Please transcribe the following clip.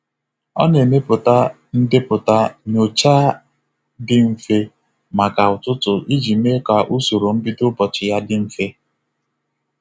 Ọ na-emepụta ndepụta nyocha dị mfe maka ụtụtụ iji mee ka usoro mbido ụbọchị ya dị mfe.